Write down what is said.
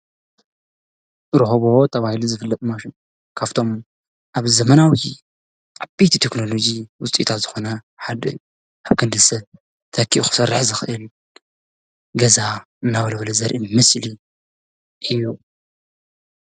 ሮቦት ተባሂሉ ዝፍልጥ ማሽን ካፍቶም ኣብ ዘመናዊ ዓበይቲ ቴክኖሎጂ ውፅኢታት ዝኾነ ሓደ ኣብ ክንዲ ሰብ ተኪኡ ክሰርሕ ዝኽኢል ገዛ እናወልወለ ዘርኢ ምስሊ እዩ።